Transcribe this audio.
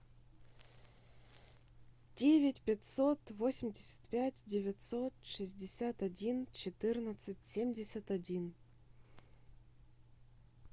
девять пятьсот восемьдесят пять девятьсот шестьдесят один четырнадцать семьдесят один